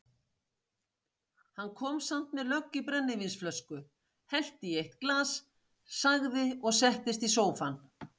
Kom samt með lögg í brennivínsflösku, hellti í eitt glas, sagði og settist í sófann